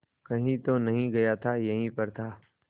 कहीं तो नहीं गया था यहीं पर था